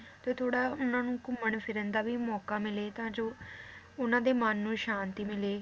ਤੇ ਥੋੜਾ ਉਹਨਾਂ ਨੂੰ ਘੁੰਮਣ ਫਿਰਨ ਦਾ ਵੀ ਮੌਕਾ ਮਿਲੇ ਤਾਂ ਜੋ ਉਹਨਾਂ ਦੇ ਮਨ ਨੂੰ ਸ਼ਾਂਤੀ ਮਿਲੇ,